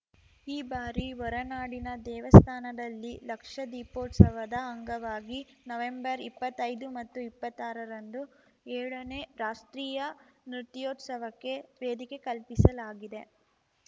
ಈ ಬಾರಿ ಹೊರನಾಡಿನ ದೇವಸ್ಥಾನದಲ್ಲಿ ಲಕ್ಷದೀಪೋತ್ಸವದ ಅಂಗವಾಗಿ ನವೆಂಬರ್ಇಪ್ಪತ್ತೈದು ಮತ್ತು ಇಪ್ಪತ್ತಾರರಂದು ಏಳನೇ ರಾಷ್ಟ್ರೀಯ ನೃತ್ಯೋತ್ಸವಕ್ಕೆ ವೇದಿಕೆ ಕಲ್ಪಿಸಲಾಗಿದೆ